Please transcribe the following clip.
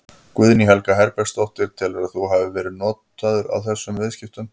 Guðný Helga Herbertsdóttir: Telurðu að þú hafi verið notaður í þessum viðskiptum?